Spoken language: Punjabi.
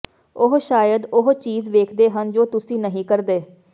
ਉਹ ਸ਼ਾਇਦ ਉਹ ਚੀਜ਼ ਵੇਖਦੇ ਹਨ ਜੋ ਤੁਸੀਂ ਨਹੀਂ ਕਰਦੇ